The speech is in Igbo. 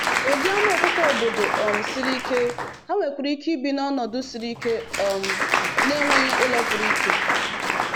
Ụdị anụ ọkụkọ obodo um siri ike, ha nwekwara ike ibi n’ọnọdụ siri ike um na-enweghị ụlọ pụrụ iche.